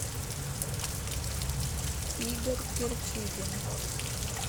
игорь кирчигин